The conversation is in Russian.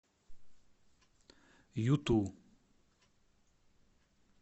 юту